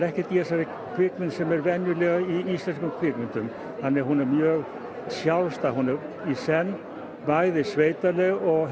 ekkert í þessari kvikmynd sem er venjulega í íslenskum kvikmyndum þannig hún er mjög sjálfstæð hún er í senn sveitaleg og